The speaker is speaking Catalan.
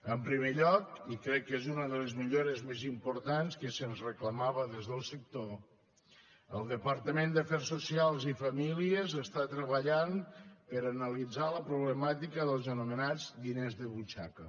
en primer lloc i crec que és una des les millores més importants que se’ns reclamava des del sector el departament d’afers socials i famílies està treballant per analitzar la problemàtica dels anomenats diners de butxaca